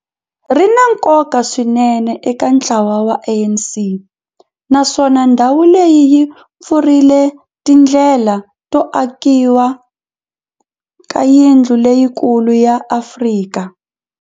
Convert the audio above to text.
ri na nkoka swinene eka ntlawa wa ANC, naswona ndhawu leyi yi pfurile tindlela to akiwa ka yindlu leyikulu ya Afrika